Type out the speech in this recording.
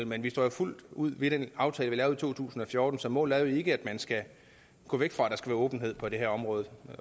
men vi står jo fuldt ud ved den aftale vi lavede i to tusind og fjorten så målet er ikke at gå væk fra at der skal være åbenhed på det her område